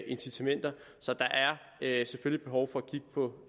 incitamenter så der er selvfølgelig behov for at kigge på